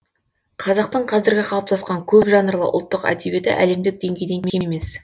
қазақтың қазіргі қалыптасқан көп жанрлы ұлттық әдебиеті әлемдік деңгейден кем емес